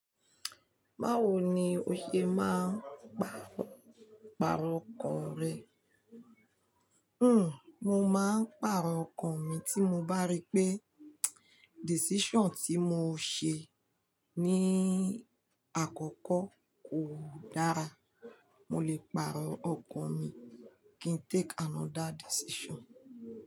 Báwo ni o ṣe máa ń pàrọ̀ ọkàn rẹ? Hmm, mo máa ń pàrọ̀ ọkàn mi tí mo bá rí pé decision tí mo ṣe ní àkọ́kọ́ kò dára. Mo lè pàrọ̀ ọkàn mi kí n take another decision.